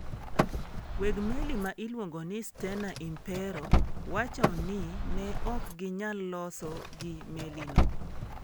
Weg meli ma iluongo ni Stena Impero wacho ni ne ok ginyal loso gi melino.